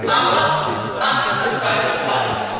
Aber alles hat seine Zeit.